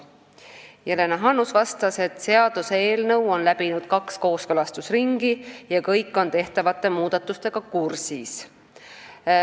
Jelena Hannus vastas, et seaduseelnõu on läbinud kaks kooskõlastusringi ja kõik on tehtavate muudatustega kursis.